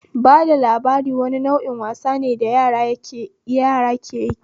Bada labari wani nau'in wasane da yara keyi